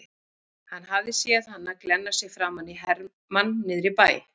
Hann hafði séð hana glenna sig framan í hermann niðri í bæ.